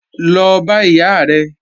Lọ bá ìyá rẹ̀!